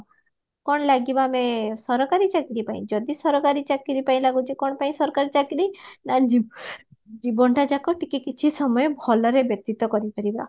କଣ ଲାଗିବା ଆମେ ସରକାରୀ ଚାକିରୀ ପାଇଁ ଯଦି ସରକାରୀ ଚାକିରି ପାଇଁ ଲାଗୁଚି କଣ ପାଇଁ ସରକାରୀ ନା ଜୀବନଟା ଯାକ ଟିକେ କିଛି ସମୟ ଭଲରେ ବ୍ୟତୀତ କରିପାରିବା